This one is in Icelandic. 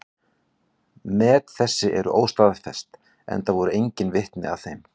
Met þessi eru óstaðfest, enda voru engin vitni að þeim.